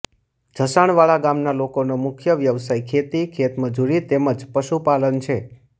જસાણવાડા ગામના લોકોનો મુખ્ય વ્યવસાય ખેતી ખેતમજૂરી તેમ જ પશુપાલન છે